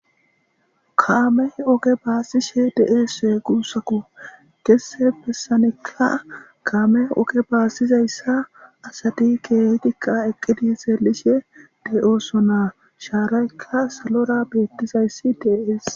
kaamey oge baasishe deeese guussaku gesse pessanekka kaame oge baasizayssa asadi keehitikka eqqidi seelishe de7ooso naa shaaraykka salora beettizayssi dee7ees